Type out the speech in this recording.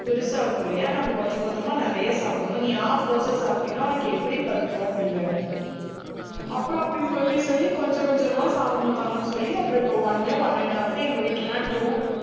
பெருசாகும் இல்லையா? நம்ம கொஞ்சம் கொஞ்சமா நிறைய சாப்பிடணும். நீ half தோசை சாப்பிட்டேன்னா உனக்கு எப்படி பத்தும்? அப்படின்னு. அப்புறம் அப்படி சொல்லி சொல்லி கொஞ்சம், கொஞ்சமா சாப்பிடணும், தங்கம்ன்னு சொல்லி அப்புறம் இப்ப one, one-and-a-half எங்க வீட்டுல எல்லாம் two